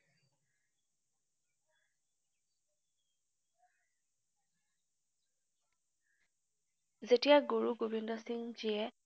যেতিয়া গুৰুগোবিন্দসিংজীয়ে